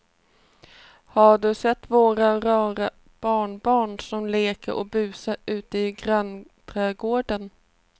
Har du sett våra rara barnbarn som leker och busar ute i grannträdgården!